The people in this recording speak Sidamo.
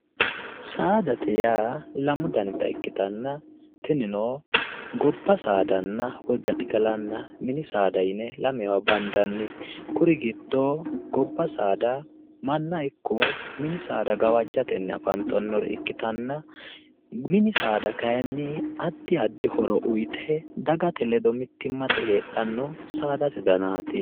Saadate yaa lamu danita ikkitanna tinino gobba saada woy gaxigalaho yine lamewa bandanni kuri giddono gobba saada manna ikko saada gawajjatenni afantannota ikkitanna mini saada kayinni addi addi horo uyite dagate ledo mittimma heedhanno saadate danaati.